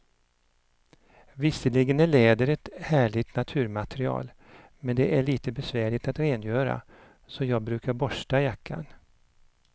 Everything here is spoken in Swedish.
Visserligen är läder ett härligt naturmaterial, men det är lite besvärligt att rengöra, så jag brukar borsta jackan.